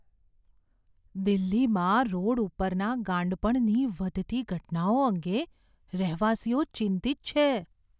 દિલ્હીમાં રોડ ઉપરના ગાંડપણની વધતી ઘટનાઓ અંગે રહેવાસીઓ ચિંતિત છે.